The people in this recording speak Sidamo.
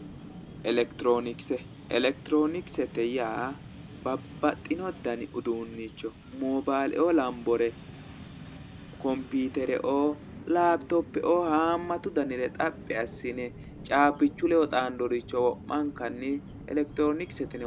Electronikse electroniksete yaa babbaxxino dani uduunnicho moobaale"oo lambore kompiitere"oo laaptoppe"oo haammatu danire xappi assine caabbichu leddo xaandore wo'mankannni electroniksete yineemmo